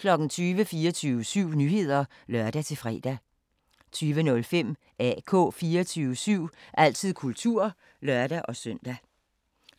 20:00: 24syv Nyheder (lør-fre) 20:05: AK 24syv – altid kultur (lør-søn)